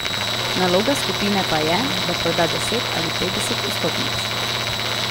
Naloga skupine pa je, da proda deset ali petdeset vstopnic.